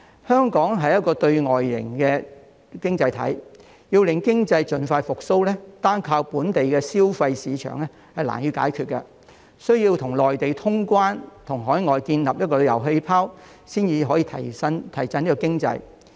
香港是對外型的經濟體，要令經濟盡快復蘇，單靠本地消費市場難以解決，需要與內地通關，以及與海外建立旅遊氣泡，才可以提振香港經濟。